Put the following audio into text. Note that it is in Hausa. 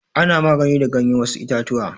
Ana magani da ganyar wasu itatuwa.